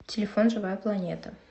телефон живая планета